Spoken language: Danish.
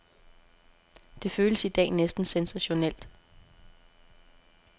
Det føles i dag næsten sensationelt.